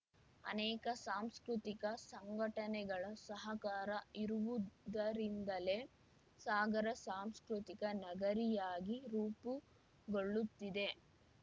ಅನೇಕ ಸಾಂಸ್ಕೃತಿಕ ಸಂಘಟನೆಗಳ ಸಹಕಾರ ಇರುವುದರಿಂದಲೆ ಸಾಗರ ಸಾಂಸ್ಕೃತಿಕ ನಗರಿಯಾಗಿ ರೂಪುಗೊಳ್ಳುತ್ತಿದೆ